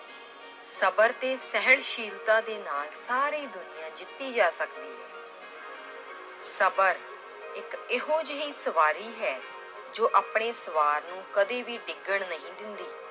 ਸਬਰ ਤੇ ਸਹਿਣਸ਼ੀਲਤਾ ਦੇ ਨਾਲ ਸਾਰੀ ਦੁਨੀਆ ਜਿੱਤੀ ਜਾ ਸਕਦੀ ਹੈ l ਸਬਰ ਇੱਕ ਇਹੋ ਜਿਹੀ ਸਵਾਰੀ ਹੈ l ਜੋ ਆਪਣੇ ਸਵਾਰ ਨੂੰ ਕਦੇ ਵੀ ਡਿੱਗਣ ਨਹੀਂ ਦਿੰਦੀ।